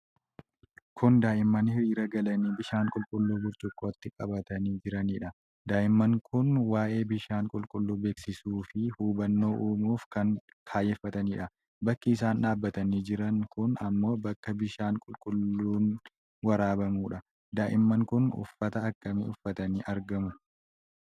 Kun daa'imman hiriira galanii bishaan qulqulluu burcuqqootti qabatanii jiranidha. Daa'imman kun waa'ee bishaan qulqulluu beeskisuu fi hubannoo uumuuf kan kaayyeffatanidha. Bakki isaan dhaabatanii jiran kun ammoo bakka bishaan qulqulluun waraabamuudha. Daa'imman kun uffata akkamii uffatanii argamu?